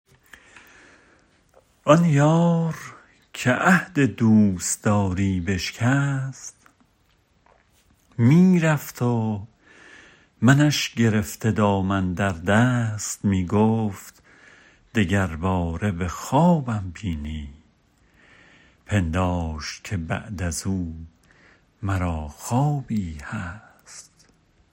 آن یار که عهد دوستداری بشکست می رفت و منش گرفته دامن در دست می گفت دگر باره به خوابم بینی پنداشت که بعد ازو مرا خوابی هست